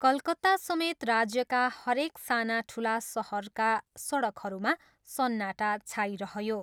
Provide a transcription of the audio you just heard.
कलकत्तासमेत राज्यका हरेक साना ठुला सहरका सडकहरूमा सन्नाटा छाइरह्यो।